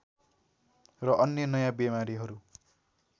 र अन्य नयाँ बिमारीहरू